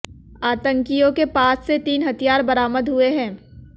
आतंकियों के पास से तीन हथियार बरामद हुए हैं